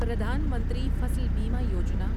Pradhan Mantri Fasal Bima Yojana